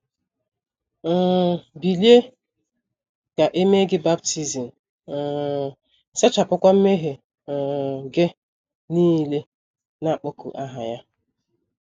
um bilie, ka e mee gị baptism um, sachapụkwa mmehie um gị nile, na - akpọku aha Ya. ”